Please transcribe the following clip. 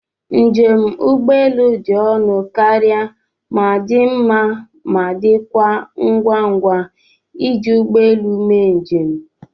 Njem ụgbọelu dị ọnụ karịa ma dị mma ma, dịkwa ngwa ngwa iji ụgbọ elu mee njem.